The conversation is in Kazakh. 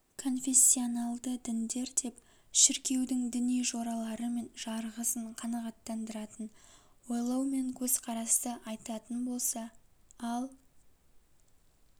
конфессионалды діндер деп шіркеудің діни жоралары мен жарғысын қанағаттандыратын ойлау мен көзқарасты айтатын болса ал